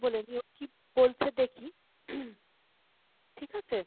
বলে নি, ও কী বলছে দেখি। ঠিক আছে ?